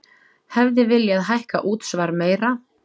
Hefði viljað hækka útsvar meira